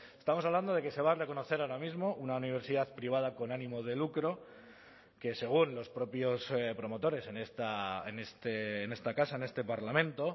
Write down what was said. estamos hablando de que se va a reconocer ahora mismo una universidad privada con ánimo de lucro que según los propios promotores en esta casa en este parlamento